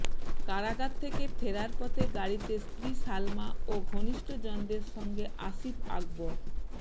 কারাগার থেকে ফেরার পথে গাড়িতে স্ত্রী সালমা ও ঘনিষ্ঠজনদের সঙ্গে আসিফ আকবর